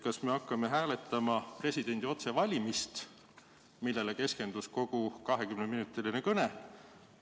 Kas me hakkame hääletama presidendi otsevalimist, millele keskendus kogu 20-minutiline kõne?